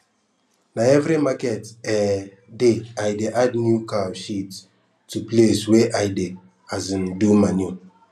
na every market um day i dey add new cow shit to place wey i dey um do manure